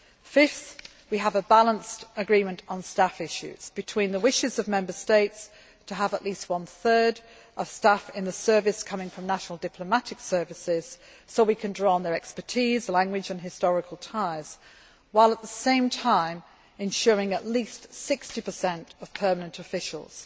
Fifth, we have a balanced agreement on staff issues, between the wishes of Member States to have at least one third of staff in the Service coming from national diplomatic services so we can draw on their expertise, language and historical ties while, at the same time, ensuring at least 60 of permanent officials.